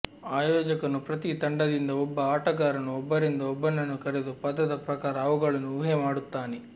ಆಯೋಜಕನು ಪ್ರತಿ ತಂಡದಿಂದ ಒಬ್ಬ ಆಟಗಾರನು ಒಬ್ಬರಿಂದ ಒಬ್ಬನನ್ನು ಕರೆದು ಪದದ ಪ್ರಕಾರ ಅವುಗಳನ್ನು ಊಹೆ ಮಾಡುತ್ತಾನೆ